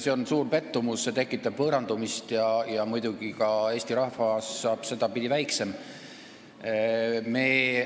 See on suur pettumus, see tekitab võõrandumist ja muidugi jääb Eesti rahvas seetõttu väiksemaks.